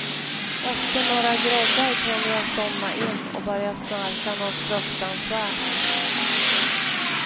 Efter några groggar kunde jag somna in och börja snarka nåt fruktansvärt.